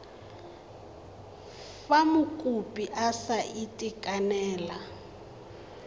fa mokopi a sa itekanela